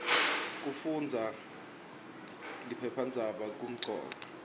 kufundaza liphephandzaba kumcoka